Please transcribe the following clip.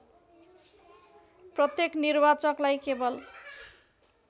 प्रत्येक निर्वाचकलाई केवल